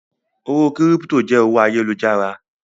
Owó kírípító jẹ́ owó ayélujára.